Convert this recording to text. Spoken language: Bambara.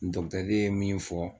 Dɔkitɛrikɛ ye min fɔ